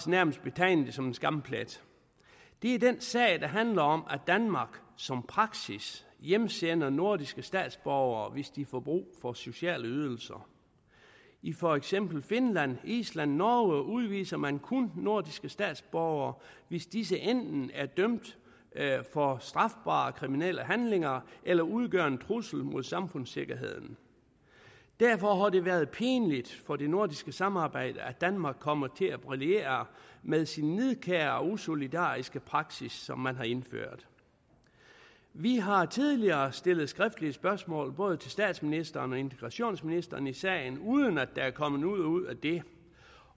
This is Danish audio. nærmest betegne det som en skamplet det er den sag der handler om at danmark som praksis hjemsender nordiske statsborgere hvis de får brug for sociale ydelser i for eksempel finland island norge udviser man kun nordiske statsborgere hvis disse enten er dømt for strafbare kriminelle handlinger eller udgør en trussel mod samfundssikkerheden derfor har det været pinligt for det nordiske samarbejde at danmark kommer til at brillere med sin nidkære og usolidariske praksis som man har indført vi har tidligere stillet skriftlige spørgsmål til både statsministeren og integrationsministeren i sagen uden at der er kommet noget ud af det